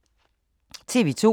TV 2